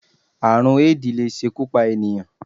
Àrùn Éèdì lè ṣekú pa ènìyàn